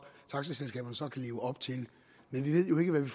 taxaselskaberne så kan leve op til men vi ved jo ikke hvad vi